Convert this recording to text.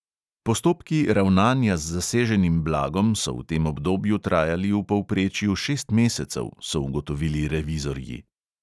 Postopki ravnanja z zaseženim blagom so v tem obdobju trajali v povprečju šest mesecev, so ugotovili revizorji.